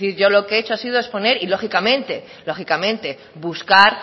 yo lo que he hecho ha sido exponer y lógicamente lógicamente buscar